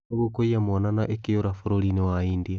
nũgũ kũiiya mwana na ĩkĩũra, bũrũri inĩ wa India.